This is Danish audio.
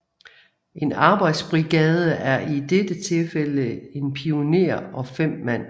En arbejdsbrigade er i dette tilfælde 1 pioner og 5 mand